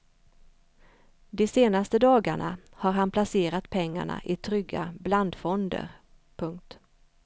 De senaste dagarna har han placerat pengarna i trygga blandfonder. punkt